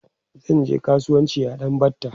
zanje kasuwanci a ɗan batta